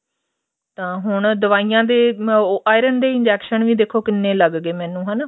ਤਾਂ ਹੁਣ ਦਵਾਈਆਂ ਦੇ ਉਹ iron ਦੇ injection ਵੀ ਦੇਖੋ ਕਿੰਨੇ ਲੱਗ ਗਏ ਮੈਂਨੂੰ ਹਨਾ